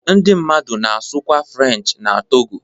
Ndị mmadụ na-asụkwa Frenchị n'Togo.